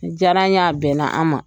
Nin diyar'an ye a bɛnna an ma.